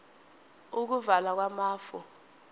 ukuvala kwamafu